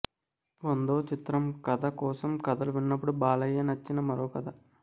వందో చిత్రం కథ కోసం కథలు విన్నప్పుడు బాలయ్య నచ్చిన మరో కథ